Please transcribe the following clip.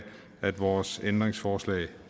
at vores ændringsforslag